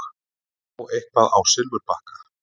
Að fá eitthvað á silfurbakka